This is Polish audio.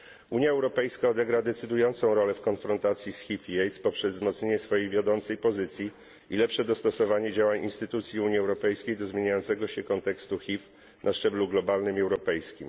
Unia Europejska odegra decydującą rolę w konfrontacji z HIV i AIDS poprzez wzmocnienie swojej wiodącej pozycji i lepsze dostosowanie działań instytucji Unii Europejskiej do zmieniającego się kontekstu HIV na szczeblu globalnym i europejskim.